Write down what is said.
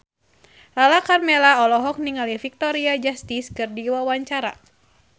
Lala Karmela olohok ningali Victoria Justice keur diwawancara